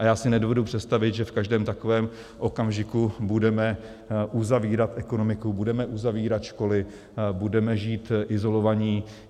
A já si nedovedu představit, že v každém takovém okamžiku budeme uzavírat ekonomiku, budeme uzavírat školy, budeme žít izolovaní.